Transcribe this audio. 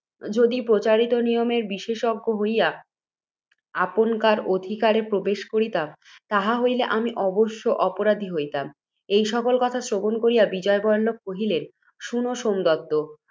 যদি, প্রচারিত নিয়মের বিশেষজ্ঞ হইয়া, আপনকার অধিকারে প্রবেশ করিতাম, তাহা হইলে আমি অবশ্য অপরাধী হইতাম। এই সকল কথা শ্রবণ করিয়া, বিজয়বল্লভ কহিলেন, শুন, সোমদত্ত!